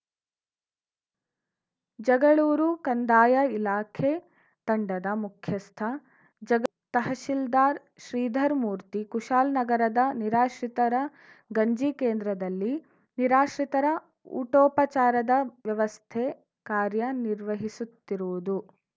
ಜಗಳೂರು ಕಂದಾಯ ಇಲಾಖೆ ತಂಡದ ಮುಖ್ಯಸ್ಥ ಜ ತಹಸೀಲ್ದಾರ್‌ ಶ್ರೀಧರಮೂರ್ತಿ ಕುಶಾಲ್ ನಗರದ ನಿರಾಶ್ರಿತರ ಗಂಜಿ ಕೇಂದ್ರದಲ್ಲಿ ನಿರಾಶ್ರಿತರ ಊಟೋಪಚಾರದ ವ್ಯವಸ್ಥೆ ಕಾರ್ಯ ನಿರ್ವಹಿಸುತ್ತಿರುವುದು